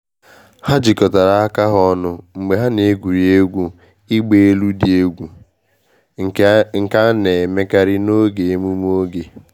Ha jikọtara aka ha ọnụ mgbe ha na-egwuri egwu ịgba elu dị egwu, nke a na-emekarị n’oge emume oge.